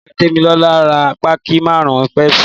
Ìyá tẹmilola rà pàkí màárún pẹsìí.